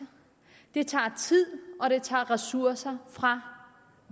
det tager tid og det tager ressourcer fra